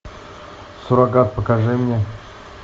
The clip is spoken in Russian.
суррогат покажи мне